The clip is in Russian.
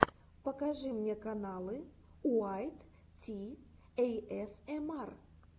покажи мне каналы уайт ти эйэсэмар